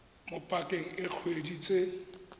mo pakeng e dikgwedi tse